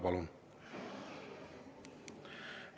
Palun!